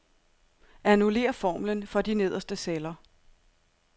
Annullér formlen for de nederste celler.